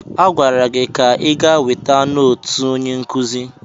Agwara gị ka ị gaa weta nootu onye nkụzi!